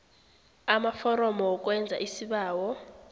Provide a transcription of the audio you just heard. amaforomo wokwenza isibawo